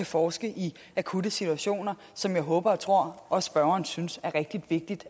forske i akutte situationer som jeg håber og tror at spørgeren synes er rigtig vigtigt